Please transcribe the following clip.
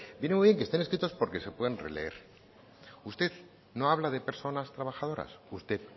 viene muy bien que estén escritos porque se pueden releer usted no habla de personas trabajadoras usted